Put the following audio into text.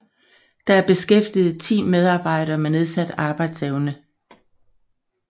Der er beskæftiget ti medarbejdere med nedsat arbejdsevne